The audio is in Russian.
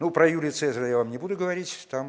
ну про юрия цезаря я вам не буду говорить там